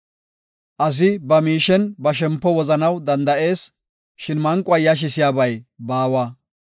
Asi ba miishen ba shempo wozanaw danda7ees; shin manquwa yashisiyabay baawa.